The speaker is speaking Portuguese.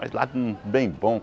Mas lá no bem bom.